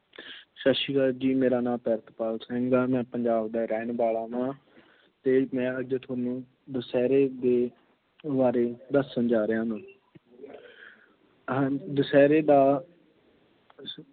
ਸਤਿ ਸ੍ਰੀ ਅਕਾਲ ਜੀ, ਮੇਰਾ ਨਾਮ ਪ੍ਰਿਤਪਾਲ ਸਿੰਘ ਆ, ਮੈਂ ਪੰਜਾਬ ਦਾ ਰਹਿਣ ਵਾਲਾ ਵਾ, ਅਤੇ ਮੈਂ ਅੱਜ ਤੁਹਾਨੂੰ ਦੁਸਹਿਰੇ ਦੇ ਬਾਰੇ ਦੱਸਣ ਜਾ ਰਿਹਾ ਹਾਂ, ਅਮ ਦੁਸ਼ਹਿਰੇ ਦਾ